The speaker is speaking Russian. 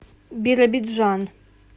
биробиджан